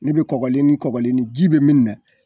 Ne bɛ kɔgɔlen ni kɔglen ji bɛ min na.